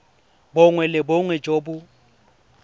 bongwe le bongwe jo bo